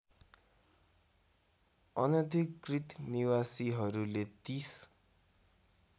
अनधिकृत निवासीहरूले ३०